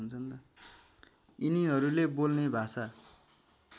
यिनीहरूले बोल्ने भाषा